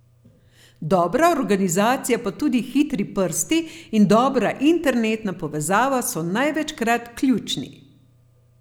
Dobra organizacija pa tudi hitri prsti in dobra internetna povezava so največkrat ključni.